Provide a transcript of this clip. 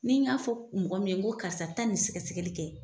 Ni n y'a fɔ mɔgɔ min ye ko karisa taa ni sɛgɛsɛli kɛ